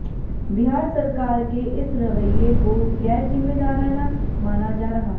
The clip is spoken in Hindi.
बिहार सरकार के इस रवैये को गैरजिम्मेदाराना माना जा रहा है